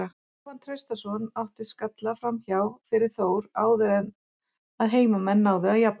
Jóhann Traustason átti skalla framhjá fyrir Þór áður en að heimamenn náðu að jafna.